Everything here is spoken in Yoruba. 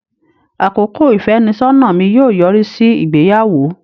Àkókò ìfẹ́nisọ́nà mi yóò yọrí sí ìgbéyàwó.